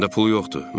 Məndə pul yoxdur.